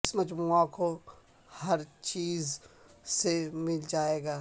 اس مجموعہ کو ہر چیز سے مل جائے گا